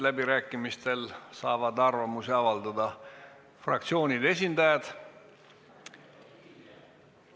Läbirääkimistel saavad arvamusi avaldada fraktsioonide esindajad.